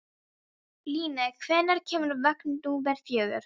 Líni, hvenær kemur vagn númer fjögur?